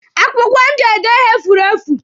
Akwụkwọ m ji ede ihe furu efu.